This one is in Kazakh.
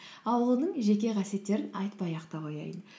ал оның жеке қасиеттерін айтпай ақ та қояйын